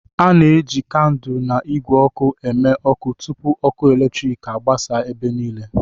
A na-eji kandụl na igwe oku eme ọkụ tupu ọkụ eletrik agbasa ebe niile.